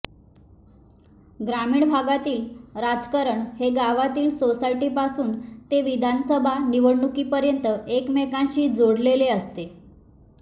ग्रामीण भागातील राजकारण हे गावातील सोसायटीपासून ते विधानसभा निवडणुकीपर्यंत एकमेकांशी जोडलेले असते